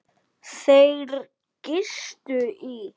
Þeir gistu í